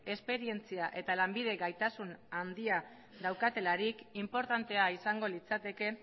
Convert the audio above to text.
esperientzia eta lanbide gaitasun handia daukatelarik inportantea izango litzateke